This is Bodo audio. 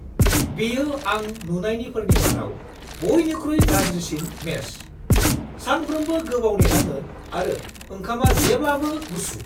बेयो आं नुनायनिफोरनि मादाव बयनिख्रुइ गाज्रिसिन मेस! सानफ्रोमबो गोबाव नेनाङो आरो ओंखामा जेब्लाबो गुसु!